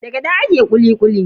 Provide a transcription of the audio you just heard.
Da gyaɗa ake kuli kuli.